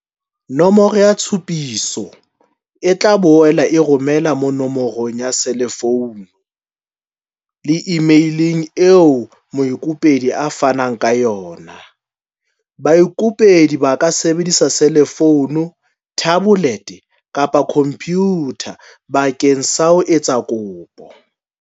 Nomoro ya tshupiso e tla boela e romelwa no morong ya selefounu le imeileng eo moikopedi a fanneng ka yona. Baikopedi ba ka sebedisa selefounu, thabolete kapa khompyutha bakeng sa ho etsa kopo.